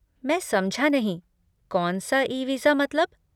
मैं समझा नहीं, 'कौनसा ई वीज़ा' मतलब?